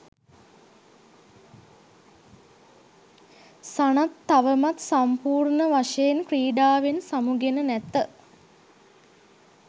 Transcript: සනත් තවමත් සම්පූර්ණවශයෙන් ක්‍රීඩාවෙන් සමුගෙන නැත